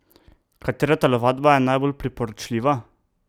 Katera telovadba je najbolj priporočljiva?